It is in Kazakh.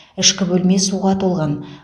ішкі бөлме суға толған